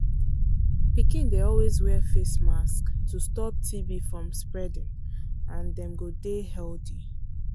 pikin dey always wear face mask to stop tb from spreading and dem go dey healthy.